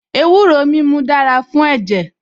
Ewúro mímu dára fún ẹ̀jẹ̀